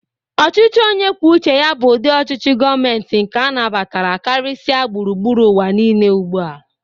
Ọchịchị onyekwucheya bụ ụdị ọchịchị gọmenti nke a na-batara karịsịa gbụrugbụru uwa niile ugbụa.